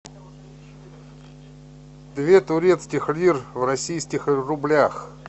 две турецких лир в российских рублях